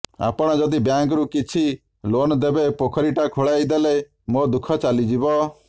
ଆପଣ ଯଦି ବ୍ୟାଙ୍କରୁ କିଛି ଲୋନ୍ ଦେବେ ପୋଖରୀଟା ଖୋଳେଇ ଦେଲେ ମୋ ଦୁଃଖ ଚାଲିଯିବ